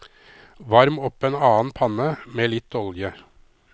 Varm opp en annen panne med litt olje.